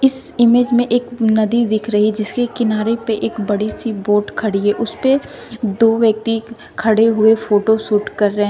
इस इमेज में एक नदी दिख रही जिसके किनारे पे एक बड़ी सी बोट खड़ी है उसेपे दो व्यक्ति खड़े हुए फोटो शूट कर रहे--